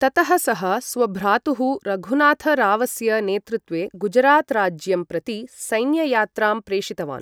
ततः सः स्वभ्रातुः रघुनाथरावस्य नेतृत्वे गुजरात राज्यं प्रति सैन्ययात्रां प्रेषितवान्।